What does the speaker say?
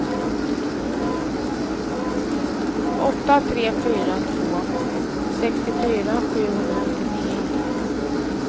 åtta tre fyra två sextiofyra sjuhundranittionio